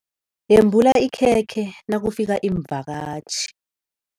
Yembula ikhekhe nakufika iimvakatjhi.